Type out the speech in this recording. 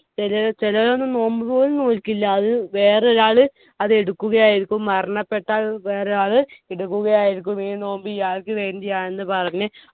ചെലെ ചെല ദിവസം നോമ്പ് പോലും നോൽകില്ല അത് വേറൊരാള് അത് എടുക്കുകയായിരിക്കും മരണപ്പെട്ടാൽ വേറെ ആള് എടുക്കുകയായിരിക്കും ഈ നോമ്പ് ഇയാൾക്കു വേണ്ടിയാണെന്ന് പറഞ്ഞ്